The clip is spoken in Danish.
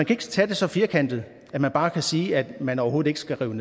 ikke se det så firkantet at man bare kan sige at man overhovedet ikke skal rive